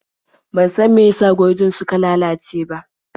Ban san meyasa gurjin suka lalace ba.